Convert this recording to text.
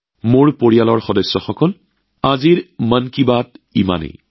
মোৰ পৰিয়ালৰ সদস্যসকল ইমানখিনি সময় মই মন কী বাতৰ সৈতে জড়িত হৈ আছো